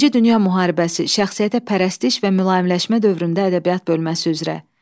İkinci Dünya Müharibəsi, şəxsiyyətə pərəstiş və mülayimləşmə dövründə ədəbiyyat bölməsi üzrə.